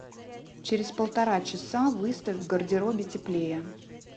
через полтора часа выставь в гардеробе теплее